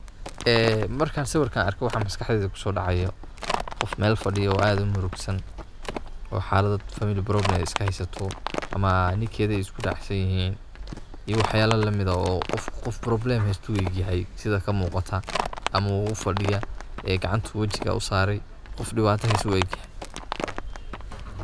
Ee markan siwiran arko waxa maskaxdeida kusodacayo, qoof mel fadiyo oo ad murugsan. oo xalad family problem iska haysato, ama ninkedha isku dacsanyihin. iyo wax yabo lamid ah, oo qofku qoof problem haysta ayu ueg yahay sidha kamuqato. ama ufadiya ee gacanta wejiga usarey, qoof dibato hayso ayu ueg yahy.